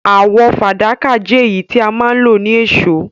Àwò fàdákà je èyí tí a ma n lo ni èsó